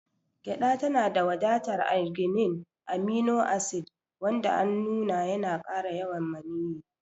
Gyada tanada wadatar arginine, amino acid wanda an nuna yana kara yawan maniyyi.